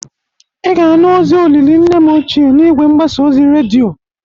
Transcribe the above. Ị ga-anụ ozi olili nne m ochie n'igwe mgbasa oz redioi.